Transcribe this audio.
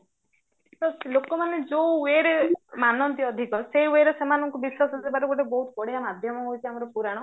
ଲୋକ ମାନେ ଯୋଉ wayରେ ମାନନ୍ତି ଅଧିକ ସେଇ wayରେ ସେମାନଙ୍କୁ ବିଶ୍ଵାସ ଦେବାର ଗୋଟିଏ ବହୁତ ବଢିଆ ମାଧ୍ୟମ ହଉଚି ଆମର ପୁରାଣ